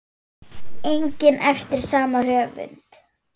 einnig eftir sama höfund.